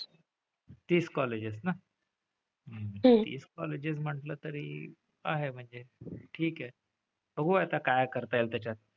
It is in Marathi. तीस colleges ना? तीस colleges म्हंटलं तरी आहे म्हणजे ठीक आहे. बघू आता काय करता येईल त्याच्यात.